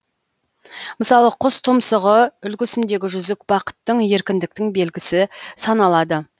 мысалы құс тұмсығы үлгісіндегі жүзік бақыттың еркіндіктің белгісі саналады